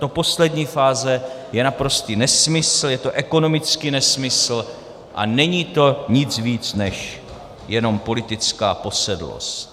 Tato poslední fáze je naprostý nesmysl, je to ekonomický nesmysl a není to nic víc než jenom politická posedlost.